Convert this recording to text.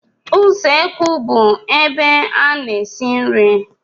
Usekwu bụ ebe a na-esi nri.